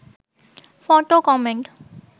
photo comment